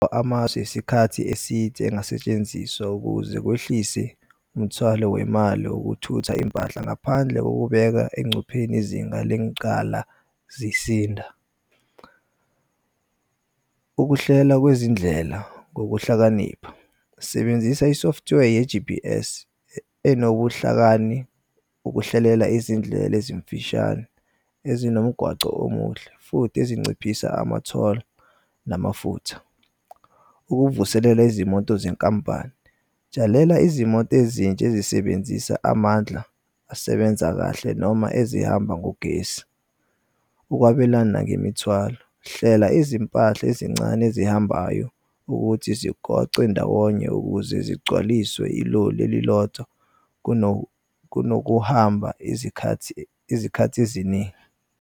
Amasu esikhathi eside engasetshenziswa ukuze kwehlise umthwalo wemali okuthutha impahla ngaphandle kokubeka engcupheni izinga lencala sizinda. Ukuhlela kwezindlela ngokuhlakanipha, sebenzisa i-software ye-G_P_S enobuhlakani ukuhlelela izindlela ezimfishane ezinomgwaco omuhle futhi ezinciphisa ama-toll namafutha. Ukuvuselela izimoto zenkampani, tshalela izimoto ezintsha ezisebenzisa amandla asebenza kahle noma ezihamba ngogesi. Ukwabelana ngemithwalo, hlela izimpahla ezincane ezihambayo ukuthi zigoce ndawonye ukuze zigcwaliswe iloli elilodzwa kunokuhamba izikhath'eziningi.